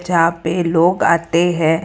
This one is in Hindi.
जहां पे लोग आते हैं।